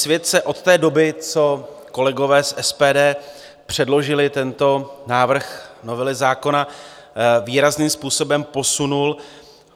Svět se od té doby, co kolegové z SPD předložili tento návrh novely zákona, výrazným způsobem posunul.